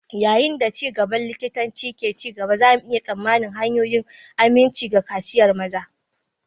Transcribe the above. Yayin da ci gaban likitanci ke ci gaba, za mu iya tsammanin hanyoyin aminci ga kaciyar maza.